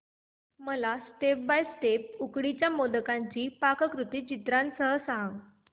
मला step by step उकडीच्या मोदकांची पाककृती चित्रांसह सांग